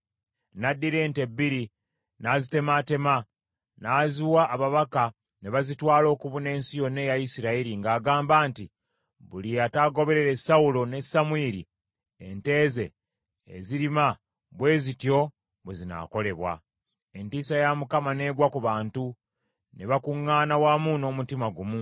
N’addira ente bbiri, n’azitemaatema, n’aziwa ababaka ne bazitwala okubuna ensi yonna eya Isirayiri ng’agamba nti, “Buli ataagoberere Sawulo ne Samwiri, ente ze ezirima bwe zityo bwe zinaakolebwa.” Entiisa ya Mukama n’egwa ku bantu, ne bakuŋŋaana wamu n’omutima gumu.